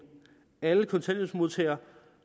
alle kontanthjælpsmodtagere